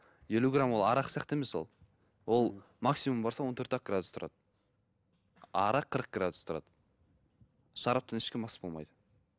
елу грамм ол арақ сияқты емес ол ол максимум барса он төрт ақ градус тұрады а арақ қырық градус тұрады шараптан ешкім мас болмайды